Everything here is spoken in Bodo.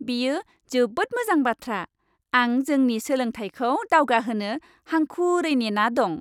बेयो जोबोद मोजां बाथ्रा! आं जोंनि सोलोंथायखौ दावगाहोनो हांखुरै नेना दं।